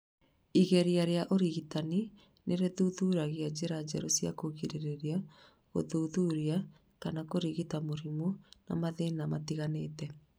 Igeria rĩa ũrigitani nĩ rithuthuragia njĩra njerũ cia kũgirĩrĩria, gũthuthuria, kana kũrigita mĩrimũ na mathĩna matiganĩte.